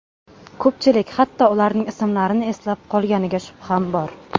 Ko‘pchilik hatto ularning ismlarini eslab qolganiga shubham bor.